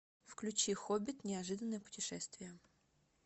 включи хоббит неожиданное путешествие